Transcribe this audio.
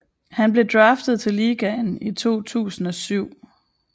Han blev draftet til ligaen i 2007